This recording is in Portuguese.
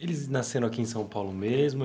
Eles nasceram aqui em São Paulo mesmo?